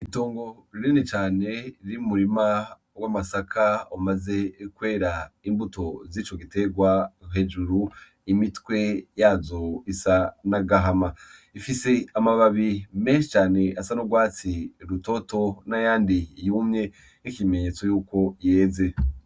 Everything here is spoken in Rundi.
Itongo rinini cane ry'umurima w'amasaka wamaze kwera. Imbuto z'ico gitegwa hejuru imitwe yazo isa n'agahama ifise amababi menshi cane asa n'urwatsi rutoto n'ayandi yumye nk'ikimenyetso yuko yeze.